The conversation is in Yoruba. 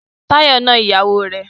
Táyọ̀ na ìyàwó rẹ̀.